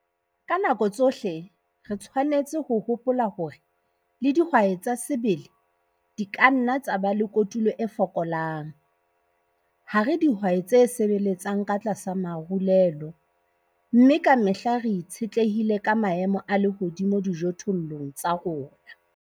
Ka nako tsohle re tshwanetse ho hopola hore le dihwai tsa sebele di ka nna tsa ba le kotulo e fokolang - ha re dihwai tse sebeletsang ka tlasa marulelo, mme ka mehla re itshetlehile ka maemo a lehodimo dijothollong tsa rona.